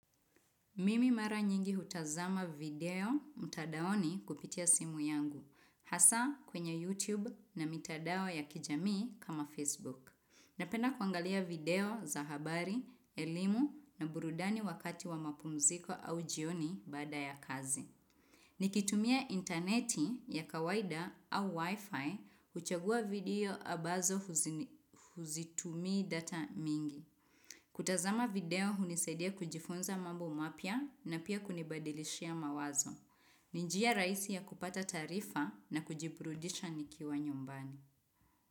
Mimi mara nyingi hutazama video mtandaoni kupitia simu yangu, hasa kwenye YouTube na mitandao ya kijamii kama Facebook. Napenda kuangalia video za habari, elimu na burudani wakati wa mapumziko au jioni baada ya kazi. Nikitumia interneti ya kawaida au Wi-Fi, huchagua video ambazo hazitumii data mingi. Kutazama video hunisaidia kujifunza mambo mapya na pia kunibadilishia mawazo. Ni njia raisi ya kupata taarifa na kujiburudisha nikiwa nyumbani.